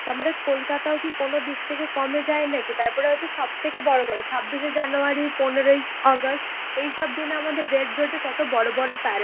তা আমাদের কলকাতাও কি কোনোদিক থেকে কমে যাই নাকি, তারপরে হচ্ছে সব থেকে বড়ো কথা ছাব্বিশে জানুয়ারি পনেরোই আগস্ট এইসব দিনে আমাদের রেড রোডে কত বড়ো বড়ো প্যারেড